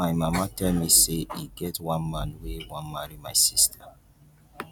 my mama tell me say e get one man wey wan marry my sister